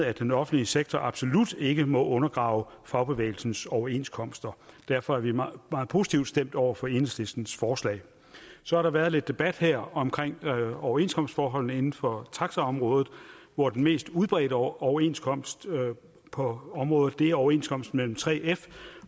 at den offentlige sektor absolut ikke må undergrave fagbevægelsens overenskomster derfor er vi meget positivt stemt over for enhedslistens forslag så har der været lidt debat her om overenskomstforholdene inden for taxaområdet hvor den mest udbredte overenskomst på området er overenskomsten mellem 3f